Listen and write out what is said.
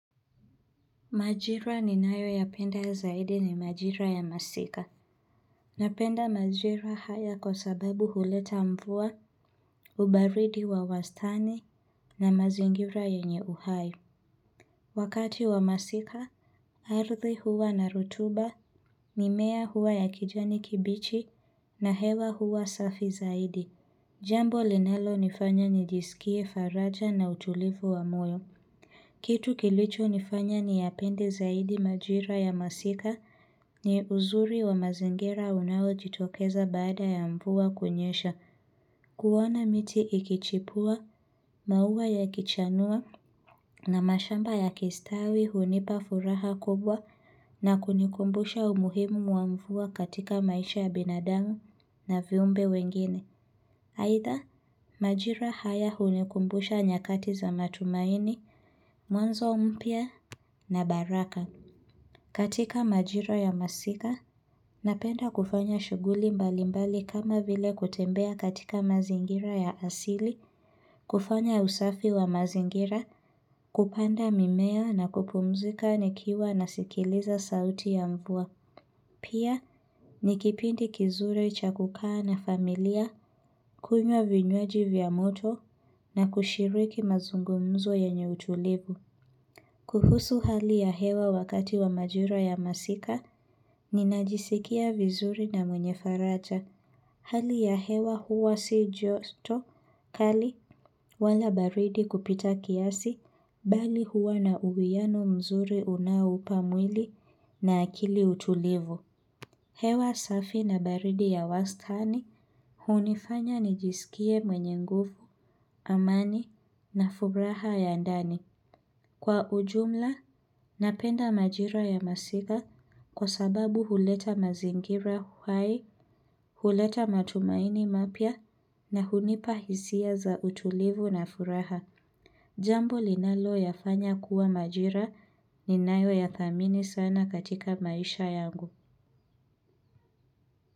Majira ninayoyapenda zaidi ni majira ya masika. Napenda majira haya kwa sababu huleta mvua, ubaridi wa wastani na mazingira yenye uhai. Wakati wa masika, ardhi huwa na rotuba, mimea huwa ya kijani kibichi na hewa huwa safi zaidi. Jambo linalonifanya nijisikie faraja na utulivu wa moyo. Kitu kilicho nifanya ni yapende zaidi majira ya masika ni uzuri wa mazingira unaojitokeza baada ya mvua kunyesha. Kuona miti ikichipua, maua ya kichanua na mashamba ya kistawi hunipa furaha kubwa na kunikumbusha umuhimu mwamvua katika maisha ya binadamu na viumbe wengine. Aidha, majira haya hunikumbusha nyakati za matumaini, mwanzo mpya. Na baraka. Katika majira ya masika Napenda kufanya shughuli mbali mbali kama vile kutembea katika mazingira ya asili kufanya usafi wa mazingira kupanda mimea na kupumzika nikiwa na sikiliza sauti ya mvua Pia nikipindi kizuri cha kukaa na familia kunywa vinywaji vya moto na kushiriki mazungumzo yenye utulivu kuhusu hali ya hewa wakati wa majira ya masika, ninajisikia vizuri na mwenye faracha. Hali ya hewa huwa si joto kali wala baridi kupita kiasi, bali huwa na uwiano mzuri unaoupa mwili na akili utulivu. Hewa safi na baridi ya wastani hunifanya nijisikie mwenye nguvu, amani na furaha ya ndani. Kwa ujumla, napenda majira ya masika kwa sababu huleta mazingira uhai, huleta matumaini mapya na hunipahisia za utulivu na furaha. Jambo linalo yafanya kuwa majira ni nayo ya thamini sana katika maisha yangu.